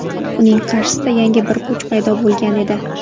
Uning qarshisida yangi bir kuch paydo bo‘lgan edi.